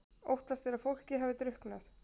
Óttast er að fólkið hafi drukknað